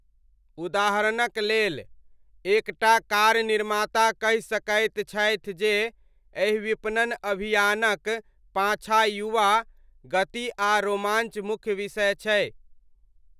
उदाहरणक लेल, एक टा कार निर्माता कहि सकैत छथि जे एहि विपणन अभियानक पाछाँ युवा, गति आ रोमाञ्च मुख्य विषय छै।